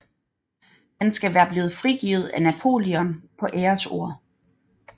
Han skal være blevet frigivet af Napoleon på æresord